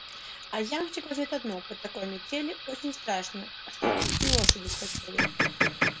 а ямщик в ответ одно по такой метели очень страшно чтоб в пути лошади вспотели